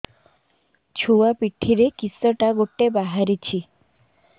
ଛୁଆ ପିଠିରେ କିଶଟା ଗୋଟେ ବାହାରିଛି